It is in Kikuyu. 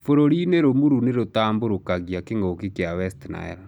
Bũrũrinĩ rũmurũ nĩrũtamborũkagia kĩngũki kia West Nile.